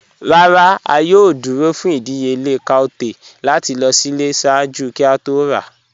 "Ràrá, a yòò dúró fún ìdíyèlẹ̀ cowtail láti lọ sílẹ̀ ṣáàjú kí a tó rà."